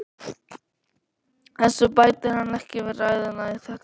Þessu bætir hann ekki við ræðuna í þetta sinn.